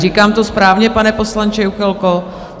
Říkám to správně, pane poslanče Juchelko?